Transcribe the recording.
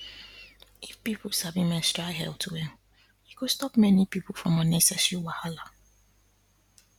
if people sabi menstrual health well e go stop many people from unnecessary wahala